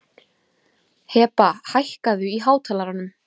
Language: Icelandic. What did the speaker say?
Heba, hækkaðu í hátalaranum.